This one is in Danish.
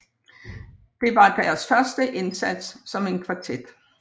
Det var deres første indsats som en kvartet